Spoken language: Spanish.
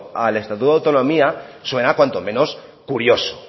al estatuto de autonomía suena cuanto menos curioso